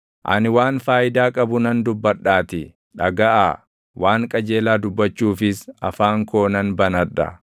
Ani waan faayidaa qabu nan dubbadhaatii, dhagaʼaa; waan qajeelaa dubbachuufis afaan koo nan banadha.